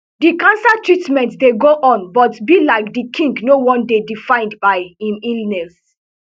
di cancer treatment dey go on but be like di king no wan dey defined by im illness